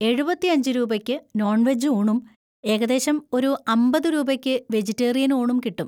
എഴുപത്തിയഞ്ച് രൂപയ്ക്ക് non veg ഊണും ഏകദേശം ഒരു അമ്പത് രൂപയ്ക്ക് വെജിറ്റേറിയൻ ഊണും കിട്ടും.